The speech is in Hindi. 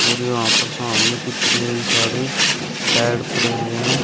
और यहां पर सामने कितने सारे बेड पड़े हुए हैं।